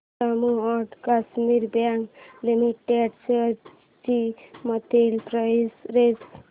Jammu and Kashmir bank limited shares ची monthly price range